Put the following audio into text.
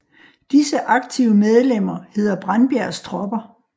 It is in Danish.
Disse aktive medlemmer hedder Brandbjergs Tropper